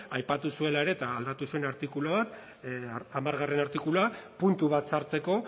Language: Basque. aipatu zuela ere eta aldatu zuen artikulua hamargarrena artikulua puntu bat sartzeko